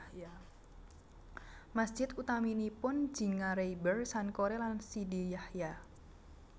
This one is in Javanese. Masjid utaminipun Djingareyber Sankore lan Sidi Yahya